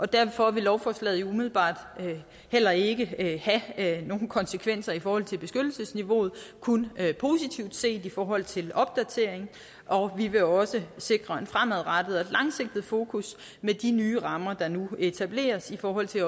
derfor vil lovforslaget umiddelbart heller ikke have have nogen konsekvenser i forhold til beskyttelsesniveauet kun positivt set i forhold til opdatering og vi vil også sikre et fremadrettet og langsigtet fokus med de nye rammer der nu etableres i forhold til